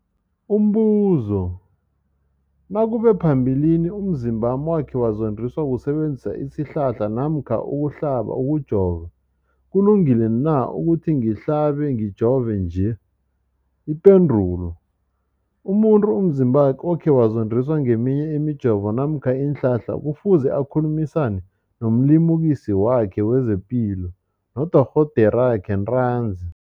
Umbuzo, nakube phambilini umzimbami wakhe wazondiswa kusebenzisa isihlahla namkha ukuhlaba, ukujova, kulungile na ukuthi ngihlabe, ngijove nje? Ipendulo, umuntu umzimbakhe okhe wazondiswa ngeminye imijovo namkha iinhlahla kufuze akhulumisane nomlimukisi wakhe wezepilo, nodorhoderakhe ntanzi.